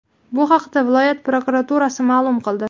Bu haqda viloyat prokuraturasi ma’lum qildi .